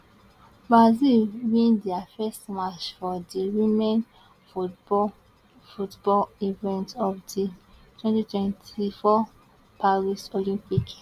brazil win dia first match for di women football football event of di twenty twenty four paris olympic